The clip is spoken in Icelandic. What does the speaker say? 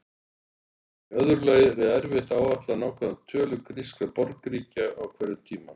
Í öðru lagi er erfitt að áætla nákvæma tölu grískra borgríkja á hverjum tíma.